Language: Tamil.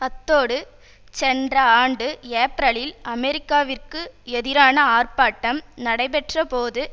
அத்தோடு சென்ற ஆண்டு ஏப்ரலில் அமெரிக்காவிற்கு எதிரான ஆர்ப்பாட்டம் நடைபெற்ற போது